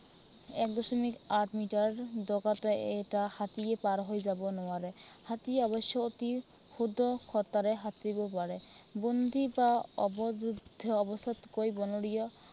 এক দশমিক আঠ মিটাৰ বেগতে এটা হাতীয়ে পাৰ হৈ যাব নোৱাৰে। হাতীয়ে অৱশ্যে অতি ক্ষীপ্ৰতাৰে সাঁতুৰিব পাৰে। বন্দী বা অৱৰূদ্ধ অৱস্থাতকৈ বনৰীয়